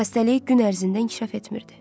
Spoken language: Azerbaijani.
Xəstəlik gün ərzində inkişaf etmirdi.